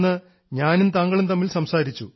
ഇന്ന് ഞാനും താങ്കളും തമ്മിൽ സംസാരിച്ചു